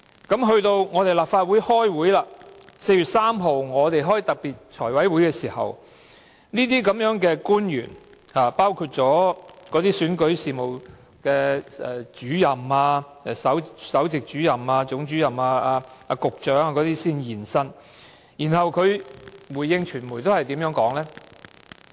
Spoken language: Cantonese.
在4月3日的立法會特別財務委員會會議上，出席官員包括首席選舉事務主任、總選舉事務主任和局長等。他們如何回應傳媒的查詢呢？